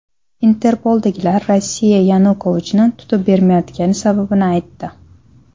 Interpoldagilar Rossiya Yanukovichni tutib bermayotgani sababini aytdi.